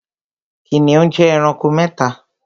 Kìnìún jẹ ẹranko mẹ́ta